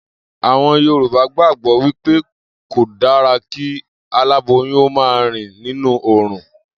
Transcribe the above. Àwo̩n Yorùbá gbàgbó̩ wí pé kò dára kí aláboyún ó máa rìn nínú òòrùn